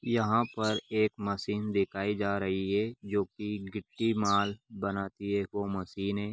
यहाँ पर एक मशीन दिखाई जा रही है जो की गिट्टी माल बनाती है वो मशीन है।